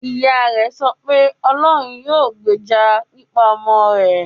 Ìyá rẹ̀ sọ pé; "Ọlọ́run yóò gbèjà pípa ọmọ rẹ̀".